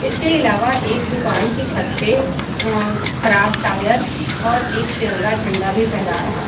इसके आलावा एक दुकान की छत पे खराब टायर और एक तिरंगा झंडा भी फहरा रहा हैं।